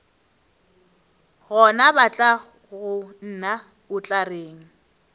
gona batlagonna o tla reng